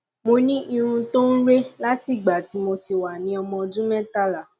mo ní irun tó ń re láti ìgbà tí mo ti wà ní ọmọ ọdún mẹtàlá